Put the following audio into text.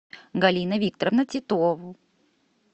галина викторовна титова